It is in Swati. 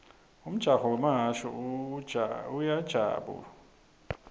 umjaho wemahhashi uyajabu lisa